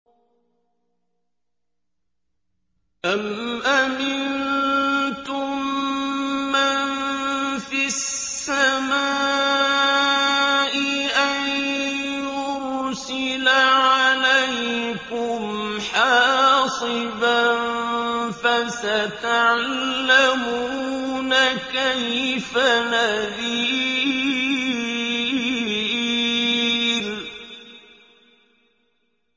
أَمْ أَمِنتُم مَّن فِي السَّمَاءِ أَن يُرْسِلَ عَلَيْكُمْ حَاصِبًا ۖ فَسَتَعْلَمُونَ كَيْفَ نَذِيرِ